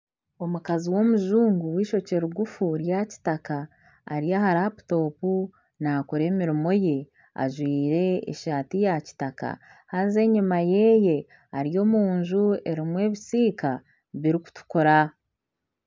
Omukazi w'omujungu w'eishokye rigufu rya kitaka ari aha laputopu nakora emirimo ye ajwire eshati ya kitaka haza enyima yeye ari omunju erimu ebisiika birikutukura .